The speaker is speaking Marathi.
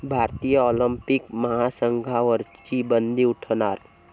भारतीय ऑलिम्पिक महासंघावरची बंदी उठणार?